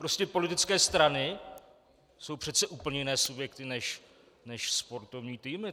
Prostě politické strany jsou přece úplně jiné subjekty než sportovní týmy.